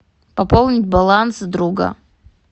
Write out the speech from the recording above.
пополнить баланс друга